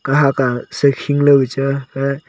kahak a se hing loi ka chang a ke--